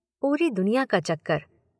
पूरी दुनिया का चक्कर।